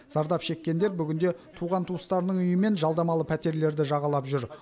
зардап шеккендер бүгінде туған туыстарының үйі мен жалдамалы пәтерлерді жағалап жүр